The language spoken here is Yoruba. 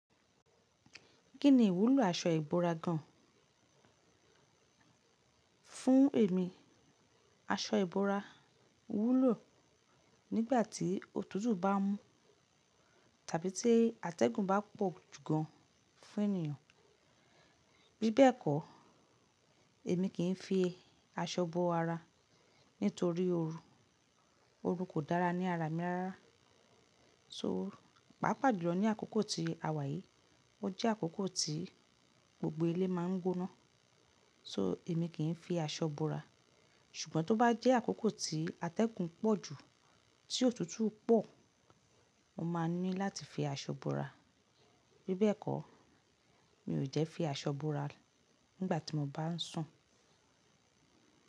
Kí ni ìwúlò aṣọ ìbora gan? Fún èmi, aṣọ ìbora wúlò nígbà tí òtútù bá mú tàbí tí atẹ́gùn bá pọ̀ jù gan fún ènìyàn. Bí bẹ́ẹ̀ kọ́, èmi kì í fi aṣọ bo ara nítorí ooru. Ooru kò dára ní ara mi rárá. So, pàápàá jùlọ ní àkókò ti àwà yìí, ó jẹ́ àkókò tí gbogbo ilé máa ń gbóná. So, èmi kì í fi aṣọ bo ara. Ṣùgbọ́n tó bá jẹ́ àkókò tí atẹ́gùn pọ̀ jù, tí òtútù pọ̀, mo máa ní láti fi aṣọ bo ara. Bí bẹ́ẹ̀ kọ́, mi ò jẹ́ fi aṣọ bo ara nígbà tí mo bá ń sùn.